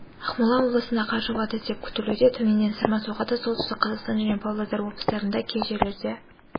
ақмола облысында қар жауады деп ктілуде төменнен сырма соғады солтүстік қазақстан және павлодар облыстарында кей жерлерде